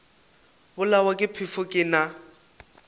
bolawa ke phefo ke na